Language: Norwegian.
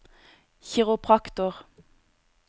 kiropraktorer